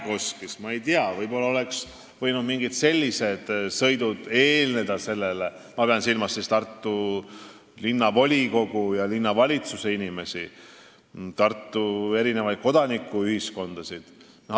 Võib-olla oleks võinud ka tartlastele mingid sellised sõidud olla – ma pean silmas Tartu linnavolikogu ja linnavalitsuse inimesi, Tartu kodanikuühiskonna esindajaid.